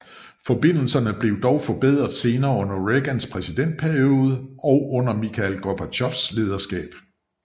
Forbindelserne blev dog forbedret senere under Reagans præsidentperiode og under Mikhail Gorbatjovs lederskab